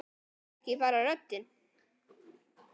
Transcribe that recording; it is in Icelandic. Það er ekki bara röddin.